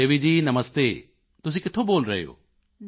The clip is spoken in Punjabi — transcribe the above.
ਸੁਖਦੇਵੀ ਜੀ ਨਮਸਤੇ ਤੁਸੀਂ ਕਿੱਥੋਂ ਬੋਲ ਰਹੇ ਹੋ